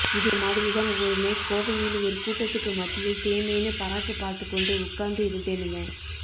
இது மாதிரி தான் ஒரு நைட் கோவையில் ஒரு கூட்டத்துக்கு மத்தியில் தேமேன்னு பராக்கு பார்த்துக் கொண்டு உட்கார்ந்து இருந்தேனுங்க